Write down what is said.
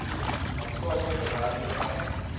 maatskaplike werker by